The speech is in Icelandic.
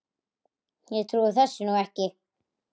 Ég trúi þessu nú ekki!